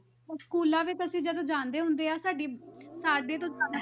ਹੁਣ schools ਵਿੱਚ ਅਸੀਂ ਜਦੋਂ ਜਾਂਦੇ ਆ ਸਾਡੀ